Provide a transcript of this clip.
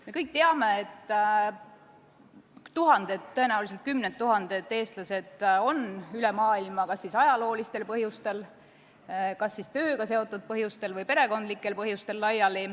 Me kõik teame, et tuhanded, tõenäoliselt kümned tuhanded eestlased on üle maailma laiali elama läinud kas siis ajaloolistel põhjustel, tööga seotud põhjustel või perekondlikel põhjustel.